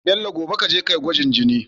Bello gobe kaje kayi gwajin jini